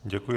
Děkuji.